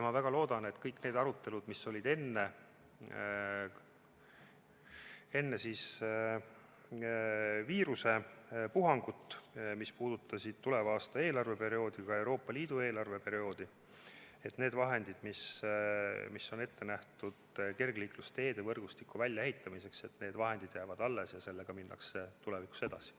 Ma väga loodan, mõeldes kõigile neile aruteludele, mis olid enne viiruspuhangut, mis puudutasid tuleva aasta eelarveperioodi, ka Euroopa Liidu eelarveperioodi, et need vahendid, mis on ette nähtud kergliiklusteede võrgustiku väljaehitamiseks, jäävad alles ja sellega minnakse tulevikus edasi.